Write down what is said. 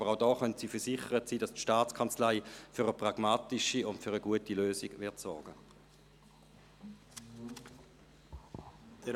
Aber auch hier können Sie versichert sein, dass die Staatskanzlei für eine pragmatische und gute Lösung sorgen wird.